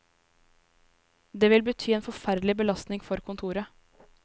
Det vil bety en forferdelig belastning for kontoret.